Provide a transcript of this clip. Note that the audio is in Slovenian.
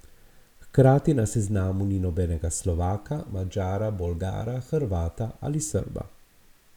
Hkrati na seznamu ni nobenega Slovaka, Madžara, Bolgara, Hrvata ali Srba.